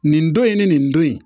Nin don in ni nin don in